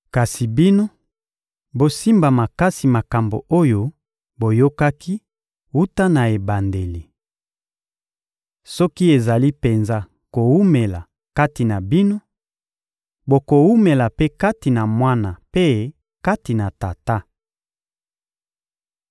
Kasi bino, bosimba makasi makambo oyo boyokaki wuta na ebandeli. Soki ezali penza kowumela kati na bino, bokowumela mpe kati na Mwana mpe kati na Tata.